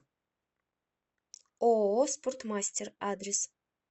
ооо спортмастер адрес